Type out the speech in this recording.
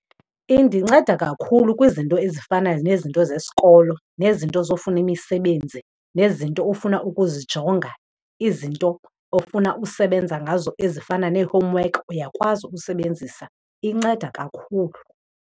Indinceda kakhulu kwizinto ezifana nezinto zesikolo nezinto zofuna imisebenzi nezinto ofuna ukuzijonga, izinto ofuna usebenza ngazo ezifana nee-homework, uyakwazi usebenzisa. Inceda kakhulu.